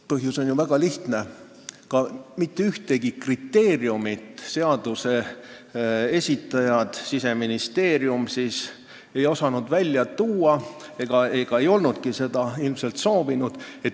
Põhjus on ju väga lihtne: mitte ühtegi kriteeriumit, mille alusel saaks seda luba mitte pikendada, seaduse esitaja Siseministeerium ei osanud välja tuua ega olnudki seda ilmselt soovinud.